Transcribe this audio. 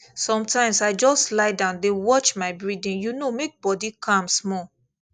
sometimes i just lie down dey watch my breathing you know make body calm small